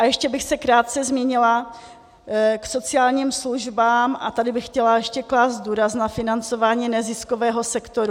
A ještě bych se krátce zmínila k sociálním službám a tady bych chtěla ještě klást důraz na financování neziskového sektoru.